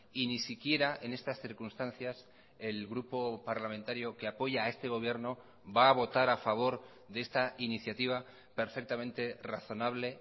y ni siquiera en estas circunstancias el grupo parlamentario que apoya a este gobierno va a votar a favor de esta iniciativa perfectamente razonable